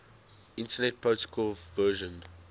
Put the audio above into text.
internet protocol version